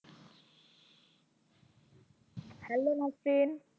Hello Nahsin